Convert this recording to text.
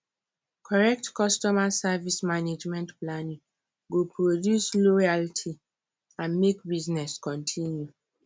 correct customer service management planning go produce loyalty and make business continue